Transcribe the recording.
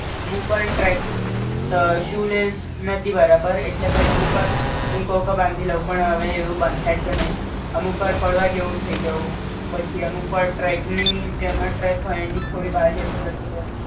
અમુક્વાર track અ shoe lace નતી બરાબર એટલે પઈ અમુક્વાર હું કૂ કે બાંધી લઉં પણ હવે એવું બંધાઈ તો નઇ અમુક્વાર પડવાં જેવુ થઈ જાઉ અમુક્વાર ટ્રેક ની જે ટ્રેક હોય એની થોડી બાર જતો રેતોતો